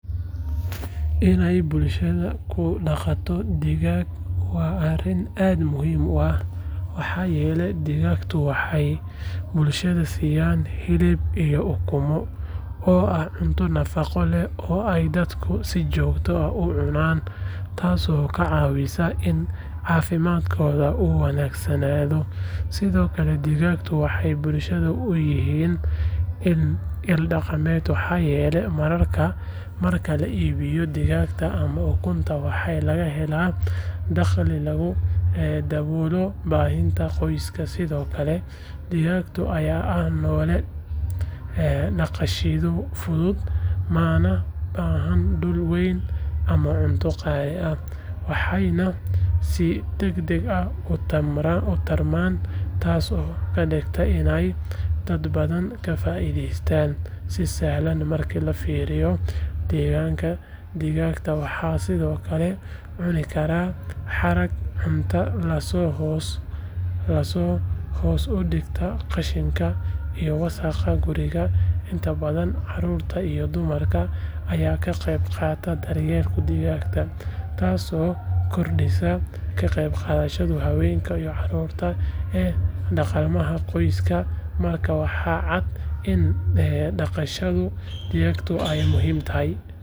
Inay bulshadu ku dhaqato digaag waa arrin aad muhiim u ah maxaa yeelay digaagga waxay bulshada siiyaan hilib iyo ukumo oo ah cunto nafaqo leh oo ay dadku si joogto ah u cunaan taasoo ka caawisa in caafimaadkooda uu wanaagsanaado sidoo kale digaagga waxay bulshada u yihiin il dhaqaale maxaa yeelay marka la iibiyo digaagga ama ukunta waxaa laga helaa dakhli lagu daboolo baahiyaha qoyska sidoo kale digaagga ayaa ah noole dhaqashadiisu fududahay mana baahna dhul weyn ama cunto qaali ah waxayna si degdeg ah u tarmaan taasoo ka dhigaysa inay dad badan ka faa’iidaystaan si sahlan marka la fiiriyo deegaanka digaagga waxay sidoo kale cuni karaan haraaga cuntada taasoo hoos u dhigta qashinka iyo wasaqda guriga inta badan carruurta iyo dumarka ayaa ka qayb qaata daryeelka digaagga taasoo kordhisa ka qaybgalka haweenka iyo carruurta ee dhaqaalaha qoyska markaas waxaa cad in dhaqashada digaagga ay muhiim u tahay.